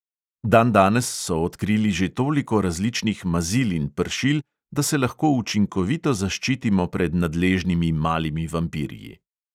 Dandanes so odkrili že toliko različnih mazil in pršil, da se lahko učinkovito zaščitimo pred nadležnimi malimi vampirji.